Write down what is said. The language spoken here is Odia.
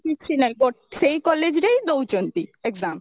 କିଛି ନାଇଁ ଗୋଟେ ସେଇ college ରେ ହିଁ ଦଉଛନ୍ତି exam